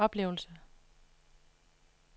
oplevelse